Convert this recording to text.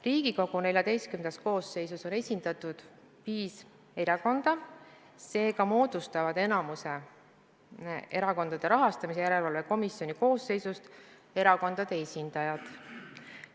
Riigikogu XIV koosseisus on esindatud viis erakonda, seega moodustavad enamiku Erakondade Rahastamise Järelevalve Komisjoni koosseisust erakondade esindajad.